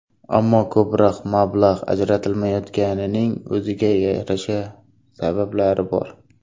Ammo ko‘proq mablag‘ ajratilmayotganining o‘ziga yarasha sabablari bor.